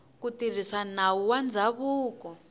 ku tirhisa nawu wa ndzhavuko